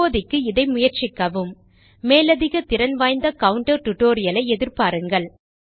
இப்போதைக்கு இதை முயற்சிக்கவும் மேலதிக திறன் வாய்ந்த கவுன்டர் டியூட்டோரியல் ஐ எதிர்பாருங்கள்